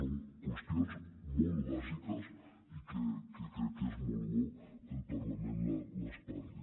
són qüestions molt bàsiques i que crec que és molt bo que el parlament les parli